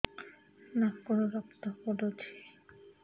ନାକରୁ ରକ୍ତ ପଡୁଛି